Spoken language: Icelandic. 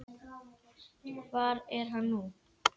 Hver er hann nú?